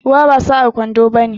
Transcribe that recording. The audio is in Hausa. Ruwa ba sa'an kwando bane.